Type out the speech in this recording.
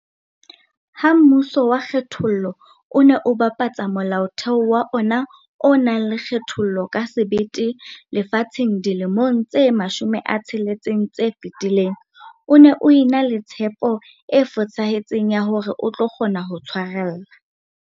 Ha mmuso wa kgethollo o ne o bapatsa Molaotheo wa ona o nang le kgethollo ka sebete lefatsheng dilemong tse 60 tse fetileng, o ne o ena le tshepo e fosahetseng ya hore o tlo kgona ho tshwarella.